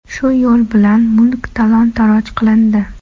Shu yo‘l bilan mulk talon-taroj qilindi.